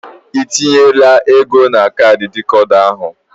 Ị tinyela ego na kaadị dịkoda ahụ?